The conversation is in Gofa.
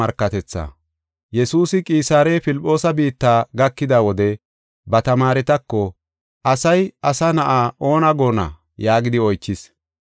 Yesuusi Qisaare Filphoosa biitta gakida wode ba tamaaretako, “Asay, Asa Na7aa oona goonna?” yaagidi oychis.